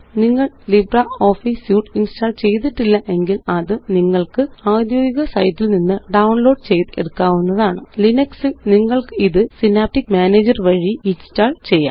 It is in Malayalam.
നിങ്ങള്LibreOffice സ്യൂട്ട് ഇന്സ്റ്റാള് ചെയ്തിട്ടില്ല എങ്കില് അത് നിങ്ങള്ക്ക് ഔദ്യോഗിക സൈറ്റില് നിന്ന് ഡൌണ്ലോഡ് ചെയ്ത് എടുക്കാവുന്നതാണ് ലിനക്സ് ല് നിങ്ങള്ക്കിത് സിനാപ്റ്റിക് പാക്കേജ് മാനേജർ വഴി ഇന്സ്റ്റാള് ചെയ്യാം